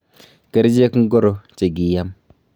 Kerchek ngoro che kiam?